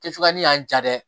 Kɛcogoya ni y'an ja dɛ